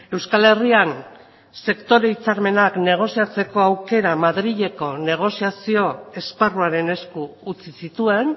euskal herrian sektore hitzarmenak negoziatzeko aukera madrileko negoziazio esparruaren esku utzi zituen